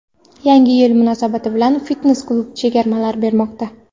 Yangi yil munosabati bilan fitnes-klub chegirmalar bermoqda.